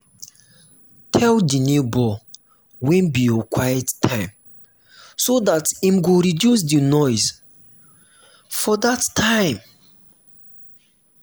tell di neighbour when be your quiet time so dat im go reduce di noise for that time